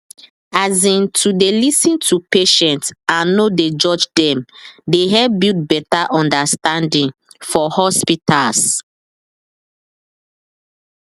as in to dey lis ten to patient and no dey judge dem dey help build better understanding for hospitals